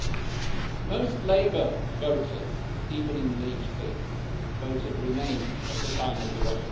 Most Labour voters, even in leave seats, voted remain at the time of the referendum.